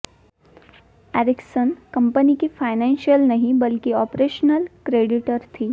Ericsson company की financial नहीं बल्कि ऑपरेशनल क्रेडिटर थी